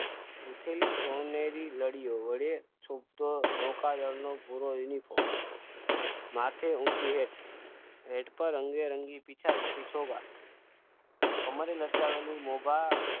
ઊઠીને સોનેરી નળીઓ વડે છૂટતો નૌકાદળનો પૂર્વ એની પર માથે ઊંચી હેઠ પર રંગે રંગી ઈચ્છા રોકી અમારે